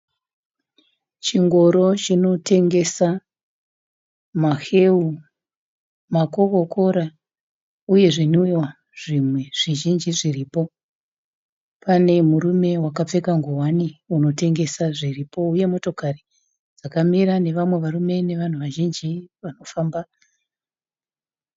Chingoro chinotengesa maheu, makokokora uye zvinwiwa zvimwe zvizhinji zviripo. Pane murume wakapfeka ngowani unotengesa zviripo uye motokari dzakamira nevamwe varume nevanhu vazhinji vari kufamba.